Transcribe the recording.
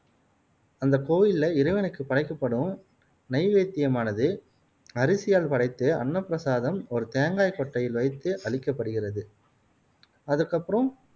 அந்த கோவில்ல இறைவனுக்கு படைக்கப்படும் நெய்வேத்தியமானது அரிசியால் படைத்து அன்னப்பிரசாதம் ஒரு தேங்காய் கொட்டையில் வைத்து அளிக்கப்படுகிறது அதுக்கப்பறம்